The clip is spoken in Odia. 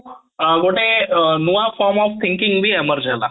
ଅଂ ଗୋଟେ ନୂଆ form of thinking ବି merge ହେଲା